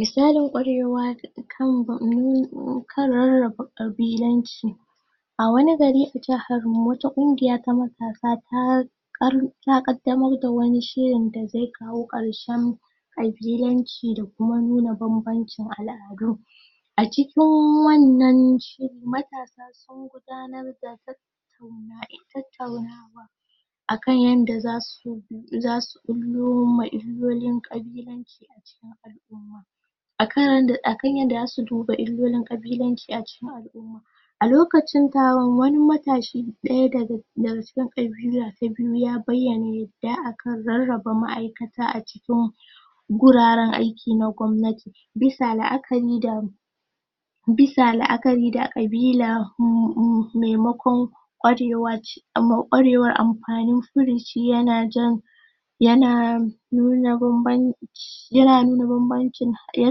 Misalin kwarewa kan nu na rarraba ƙabilanci a wani gari a jahar mu, wata ƙungiya ta matasa ta ƙaddamar ta ƙaddamar da wani shiri da zai kawo ƙarshen ƙabilanci da kuma nuna banbancin al'adu. A cikin wannan shirin, matasa sun gudanar da tattaunawa um tattaunawa akan yadda za su bullowa illolin ƙabilanci akan yadda zasu duba illolin ƙabilanci a cikin alumma a lokacin taron wani matashi ɗaya daga daga cikin ƙabila ta biyu ya bayyana yadda aka rarraba ma'aikata a cikin mu guraren aiki na kwannati bisa la'akari da bisa la'akari da ƙabila maimakon kwarewace a ma kwarewan amfani furici, ya na jan ya na nuna banbanci ya na nuna banbancin ya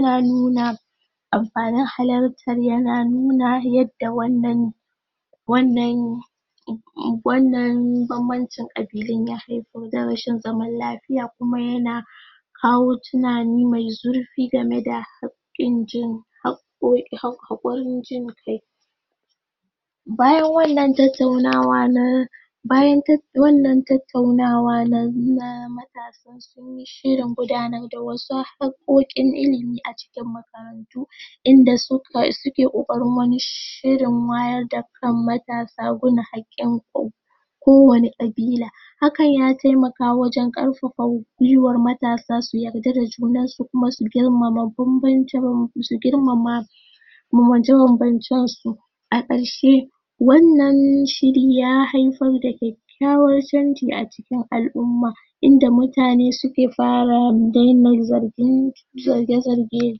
na nuna amfanin halartan ya na nuna yadda wannan wannan wannan banbancin ƙabilun ya haifar da rashin zaman lafiya kuma ya na kawo tunani mai zurfi game da hakkin jin hakkokin hakurin jin. Kai bayan wannan tattaunawa na bayan tattauna wannan tattaunawa na matasa, shirin gudanan da wasu hakkokin ilimi a cikin makarantu in da su ka suke kokarin wani shirin wayar da kan matasa gun hadin kai kowanne ƙabila. Hakan ya taimaka wajen karfafa guiwan matasa su yadda da junan su, kuma su girmama banbanci banbaci, su girma ma banbance ban bancen su. A karshe wannan shiri ya haifar da kyakkyawan canji a cikin alumma inda mutane suke, fara daina, zargin zarge zarge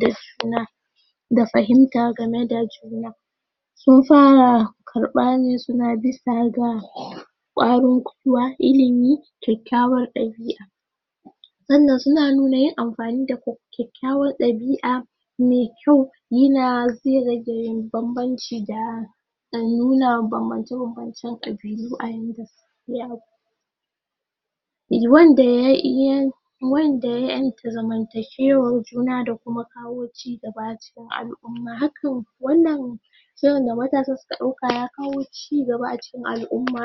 da juna da fahinta game da juna, sun fara karfa ne su na bisa ga kwarin kwuiwa ilimi kyakyawan dabi'a sannan su na nuna yin amfani da kyakkyawan dabi'a mai kyau yina zai rage banbanci da a nuna banbance, banbancen ƙabilu a wannan a eh wanda ya iya wanda ya yenta zamantakewan juna da kuma kawo cigaba a cikin alumma da kuma kawo cigaba a cikin alumma hakan wannan shawaran da matasa suka dauka ya kawo cigaba a cikin alumma.